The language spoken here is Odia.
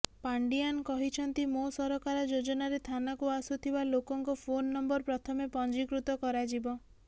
ପାଣ୍ଡିଆନ୍ କହିଛନ୍ତି ମୋ ସରକାର ଯୋଜନାରେ ଥାନାକୁ ଆସୁଥିବା ଲୋକଙ୍କ ଫୋନ୍ ନମ୍ବର ପ୍ରଥମେ ପଞ୍ଜୀକୃତ କରାଯିବ